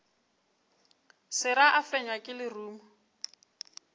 sera a fenywa ke lerumo